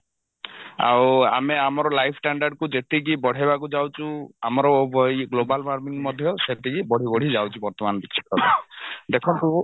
ଆଉ ଆମେ ଆମର life standard କୁ ଯେତିକି ବଢେଇବାକୁ ଯାଉଛୁ ଆମର ଇଏ global warming ମଧ୍ୟ ସେତିକି ବଢି ବଢି ଯାଉଛି ବର୍ତମାନ ଦେଖନ୍ତୁ